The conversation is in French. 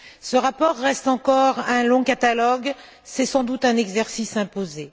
Ce rapport reste encore un long catalogue, c'est sans doute un exercice imposé.